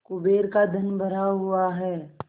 कुबेर का धन भरा हुआ है